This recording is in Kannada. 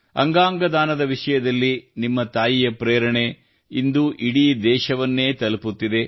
ಅಂಗಾಂಗ ದಾನದ ವಿಷಯದಲ್ಲಿ ನಿಮ್ಮ ತಾಯಿಯ ಪ್ರೇರಣೆ ಇಂದು ಇಡೀ ದೇಶವನ್ನೇ ತಲುಪುತ್ತಿದೆ